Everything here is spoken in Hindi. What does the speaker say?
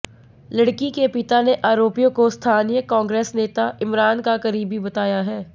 लड़की के पिता ने आरोपियों को स्थानीय कांग्रेस नेता इमरान का करीबी बताया है